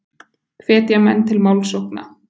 Hvetja menn til málsókna